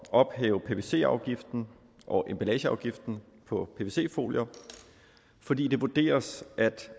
ophæve pvc afgiften og emballageafgiften på pvc folier fordi det vurderes at